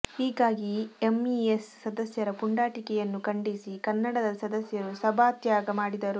ಹೀಗಾಗಿ ಎಂಇಎಸ್ ಸದಸ್ಯರ ಪುಂಡಾಟಿಕೆಯನ್ನು ಖಂಡಿಸಿ ಕನ್ನಡದ ಸದಸ್ಯರು ಸಭಾತ್ಯಾಗ ಮಾಡಿದರು